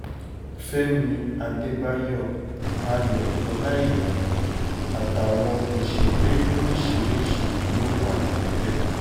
fẹ̀mí àdébáyọ̀ ayọ̀ ọláíyà àtàwọn òṣèré lóríṣìíríṣìí ló wà níbẹ̀